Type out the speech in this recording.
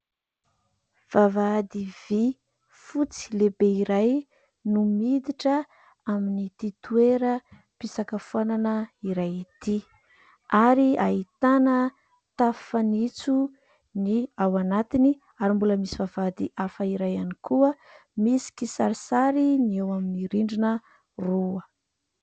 Vavahady vy fotsy lehibe iray no miditra amin'ity toeram-pisakafoanana iray ity ary ahitana tafo fanitso ny ao anatiny ary mbola misy vavahady hafa iray ihany koa misy kisarisary ny eo amin'ny rindrina roa.